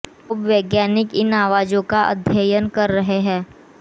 अब वैज्ञानिक इन आवाजों का अध्ययन कर रहे है